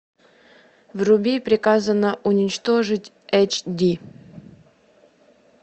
вруби приказано уничтожить эйч ди